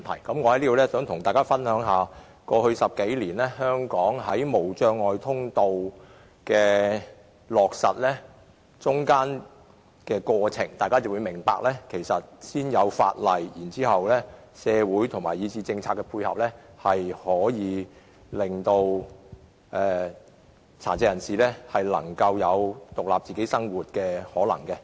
我想在此跟大家解釋香港在過去10多年落實無障礙通道的過程，大家便會明白先訂立法例，加上社會以至政策配合，便有可能讓殘疾人士過獨立生活。